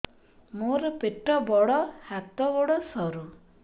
ମୋର ପେଟ ବଡ ହାତ ଗୋଡ ସରୁ